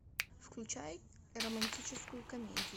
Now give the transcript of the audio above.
включай романтическую комедию